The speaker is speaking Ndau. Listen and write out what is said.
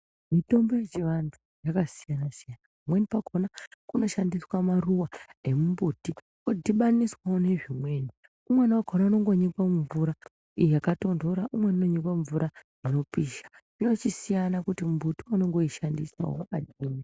Mitombo yechivanhu yakasiyanasiyana pamweni pakona kunoshandiswa maruwa emumbuti odhibaniswa nezvimweni ,umweni wakona unondonyikwe mumvura yaktonhora ,umweni unonyikwe mumvura inopisha ,zvinochisiyana kuti muti wauri kushandisa wakadini.